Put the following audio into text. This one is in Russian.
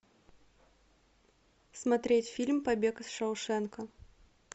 смотреть фильм побег из шоушенка